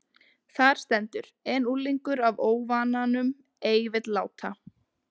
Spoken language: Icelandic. Þar stendur: En unglingur af óvananum ei vill láta